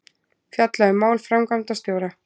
Fjalla um mál framkvæmdastjóra